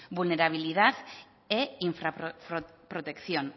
vulnerabilidad e infra protección